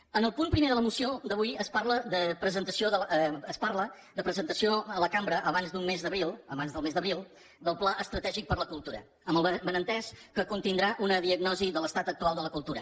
en el punt primer de la moció d’avui es parla de presentació a la cambra abans del mes d’abril del pla estratègic per la cultura amb el benentès que contindrà una diagnosi de l’estat actual de la cultura